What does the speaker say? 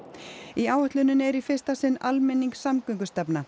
í áætluninni er í fyrsta sinn